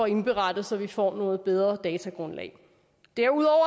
indberettet så vi får et bedre datagrundlag derudover